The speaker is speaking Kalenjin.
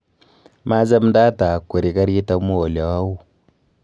Maachamndaata akweri garit amu ole au